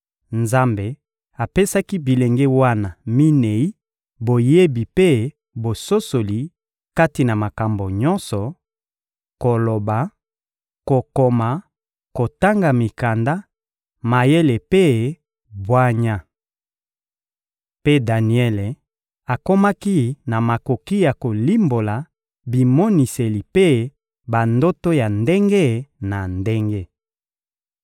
Nzambe apesaki bilenge wana minei boyebi mpe bososoli kati na makambo nyonso: koloba, kokoma, kotanga mikanda, mayele mpe bwanya. Mpe Daniele akomaki na makoki ya kolimbola bimoniseli mpe bandoto ya ndenge na ndenge.